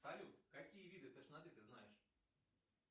салют какие виды тошноты ты знаешь